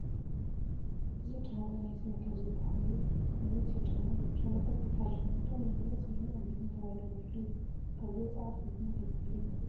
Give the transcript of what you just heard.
እዚ ጫማ ናይ ስኒከር ዝበሃል ናይ መናእሰይ ጫማ እዩ፡፡ ጫማታት ብፋሽንነቶም ናይ መናእሰይን ዓበይትን ተባሂሎም ይፍለዩ እዮም፡፡ ካብዚ ወፃኢ ከ ብምንታይ ክፍለዩ ይኽእሉ?